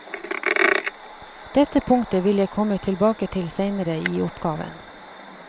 Dette punktet vil jeg komme tilbake til seinere i oppgaven.